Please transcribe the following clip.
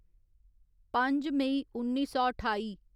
पंज मेई उन्नी सौ ठाई